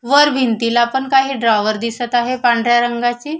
वर भिंतीलापण काही ड्रॅावर दिसत आहे पांढऱ्या रंगाचे.